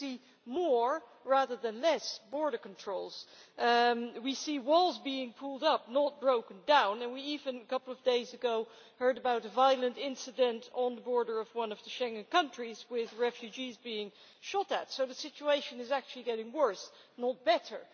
We see more, rather than less, border controls. We see walls being put up, not broken down, and a couple of days ago we even heard about a violent incident on the border of one of the Schengen countries with refugees being shot at, so the situation is actually getting worse, not better.